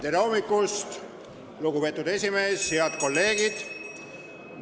Tere hommikust, lugupeetud aseesimees ja head kolleegid!